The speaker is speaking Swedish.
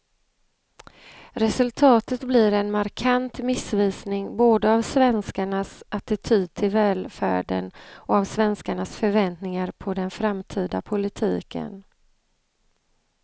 Resultatet blir en markant missvisning både av svenskarnas attityd till välfärden och av svenskarnas förväntningar på den framtida politiken.